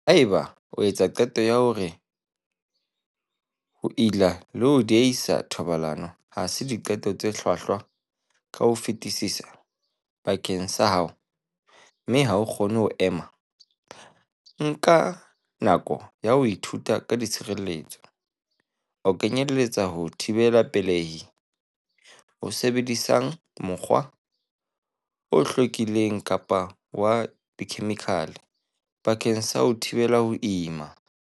Haeba o etsa qeto ya hore ho ila le ho diehisa thobalano ha se diqeto tse hlwahlwa ka ho fetisisa bakeng sa hao mme ha o kgone ho ema, nka nako ya ho ithuta ka tshireletso, ho kenyeletsa ho thibela pele-hi, ho sebedisang mokgwa, o tlwaelehileng kapa wa dikhemikhale, bakeng sa ho thibela ho ima.